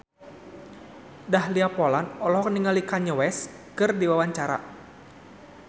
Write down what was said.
Dahlia Poland olohok ningali Kanye West keur diwawancara